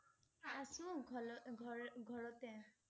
আছোঁ ঘল~ঘৰ~ঘৰতে